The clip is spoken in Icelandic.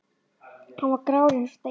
Hann var grár eins og steinn.